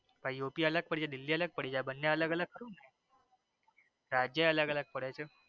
આ યુપી અલગ પડી જઈ દિલ્હી અલગ પડી જઈ આ બને અલગઅલગ કેમ? સાચે અલગઅલગ પડે છે.